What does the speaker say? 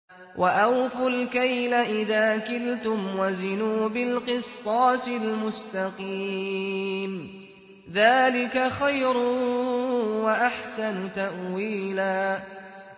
وَأَوْفُوا الْكَيْلَ إِذَا كِلْتُمْ وَزِنُوا بِالْقِسْطَاسِ الْمُسْتَقِيمِ ۚ ذَٰلِكَ خَيْرٌ وَأَحْسَنُ تَأْوِيلًا